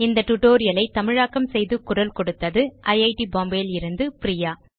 இந்த tutorial ஐ தமிழாக்கம் செய்து குரல் கொடுத்தது ஐட் பாம்பே லிருந்து பிரியா